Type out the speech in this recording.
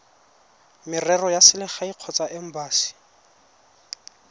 merero ya selegae kgotsa embasi